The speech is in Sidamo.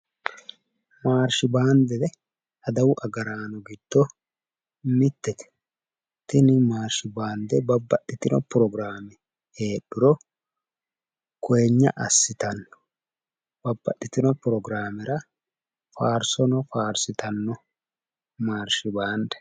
Maarshi baande adawu agaraano giddo mittete tini maarshi baande babbaxxitino progiraame heedhuro koyeeyna assitanno babbaxxitino progiraamera faarsono faarsitanno maarshibaande